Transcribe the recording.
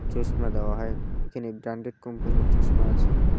চশমা দেওয়া হয় এখানে ব্র্যান্ডেড কোম্পানির চশমা আছে।